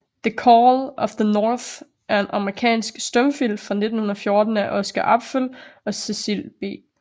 The Call of the North er en amerikansk stumfilm fra 1914 af Oscar Apfel og Cecil B